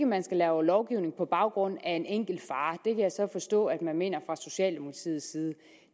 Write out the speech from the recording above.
man skal lave lovgivning på baggrund af en enkelt far det kan jeg så forstå at man mener fra socialdemokratiets side